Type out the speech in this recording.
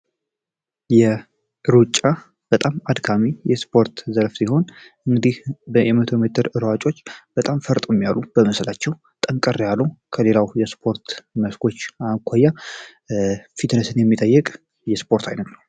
ሩጫ በጣም አድካሚ የስፖርት ዘርፍ ሲሆን የመቶ ሜትር እሯጮች በጣም ፈጥኖ የሚሮጡ ከሌላው ሯጮች ከሌሎች ሰፖርቶች አኳያ ፍጥነትን የሚጠይቅ የስፖርት አይነት ነው።